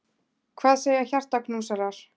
Hvað segja hjartaknúsarar!